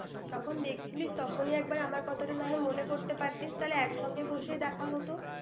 যখন দেখছিলি, তখনই এক বার আমার কথাটা নাহয় মনে করতে পারতি, তাহলে একসঙ্গে বসে দেখা হত!